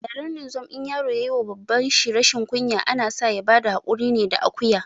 A yaren ninzom in yaro yayi wa baban shi rashin kunya, ana sa ya bada haƙuri ne da akuya